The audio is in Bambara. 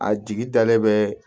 A jigi dalen bɛ